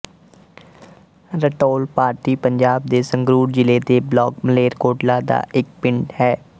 ਰਟੌਲ ਭਾਰਤੀ ਪੰਜਾਬ ਦੇ ਸੰਗਰੂਰ ਜ਼ਿਲ੍ਹੇ ਦੇ ਬਲਾਕ ਮਲੇਰਕੋਟਲਾ ਦਾ ਇੱਕ ਪਿੰਡ ਹੈ